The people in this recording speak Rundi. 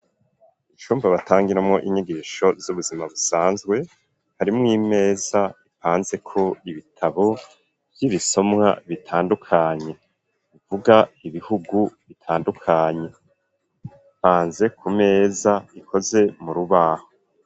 Icumba batangiramwo inyigisho ,z'ubuzima busanzwe, harimw'imeza ipanze kw'ibitabo vy'ibisomwa bitandukanye, ivuga ibihugu bitandukanye ,ipanze ku meza ikoze mu rubaho.